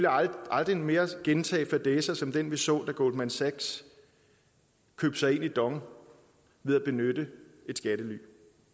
aldrig mere gentage fadæser som den vi så da goldman sachs købte sig ind i dong ved at benytte et skattely